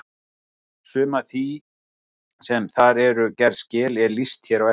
Sumu af því sem þar voru gerð skil er lýst hér á eftir.